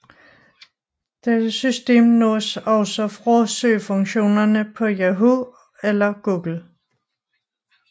Dette system nås også fra søgefunktionerne på Yahoo eller Google